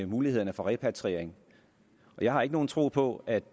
mulighederne for repatriering jeg har ikke nogen tro på at